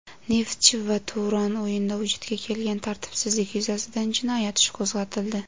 "Neftchi" va "Turon" o‘ynida vujudga kelgan tartibsizlik yuzasidan jinoyat ishi qo‘zg‘atildi.